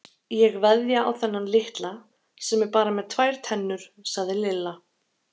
Ég veðja á þennan litla sem er bara með tvær tennur sagði Lilla.